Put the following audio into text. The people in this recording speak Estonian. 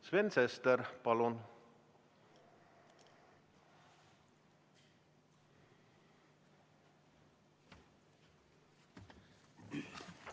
Sven Sester, palun!